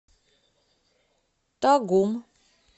тагум